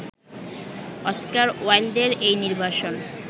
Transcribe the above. Oscar ওয়াইল্ডের এই নির্বাসন